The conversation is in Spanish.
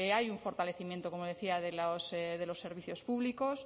hay un fortalecimiento como decía de los servicios públicos